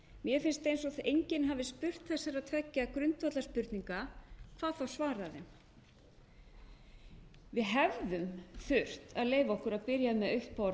mér finnst eins og enginn hafi spurt þessara tveggja grundvallarspurninga hvað þá svarað þeim við hefðum þurft að leyfa okkur að byrja með autt borð